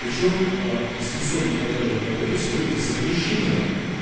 причём дистанционная продажа алкоголя сегодня запрещена